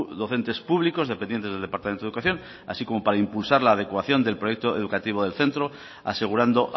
docentes públicos dependientes del departamento de educación así como para impulsar la adecuación del proyecto educativo del centro asegurando